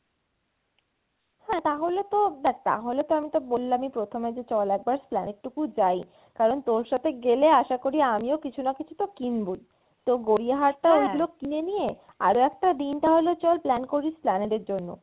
হ্যাঁ তাহলে তো দেখ তাহলে তো আমি তো বললামই প্রথমে যে চল একবার Esplanade টুকু যাই কারন তোর সাথে গেলে আসা করি আমিও কিছু না কিছু তো কিনবোই তো গড়িয়াহাটে ওগুলো কিনে নিয়ে, আরও একটা দিন তাহলে চল plan করি Esplanade এর জন্য।